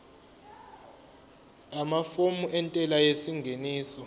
amafomu entela yengeniso